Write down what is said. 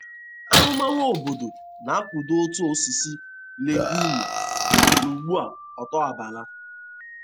Ahụmahụ obodo na-akwado uto osisi legiumu n'ugbo otubala.